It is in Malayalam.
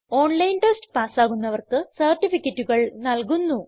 ഓൺലൈൻ ടെസ്റ്റ് പാസ്സാകുന്നവർക്ക് സർട്ടിഫികറ്റുകൾ നല്കുന്നു